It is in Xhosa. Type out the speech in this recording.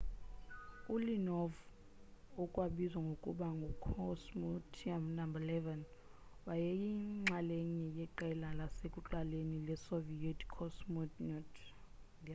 u-leonov okwabizwa ngokuba ngu cosmonaut no 11 wayeyinxalenye yeqela lasekuqaleni le soviet cosmonauts